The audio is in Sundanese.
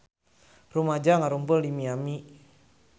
Rumaja ngarumpul di Miami